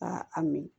Ka a min